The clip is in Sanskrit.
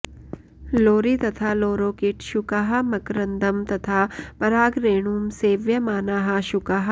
लोरि तथा लोरोकिट् शुकाः मकरन्दं तथा परागरेणुं सेव्यमानाः शुकाः